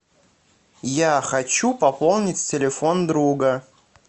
я хочу пополнить телефон друга